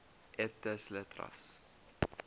et des lettres